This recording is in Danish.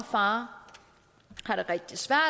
far